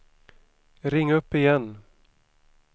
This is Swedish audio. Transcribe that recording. ring upp igen